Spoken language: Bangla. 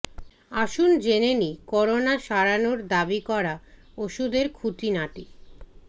আসুন জেনে নিই করোনা সারানোর দাবি করা ওষুধের খুঁটিনাটি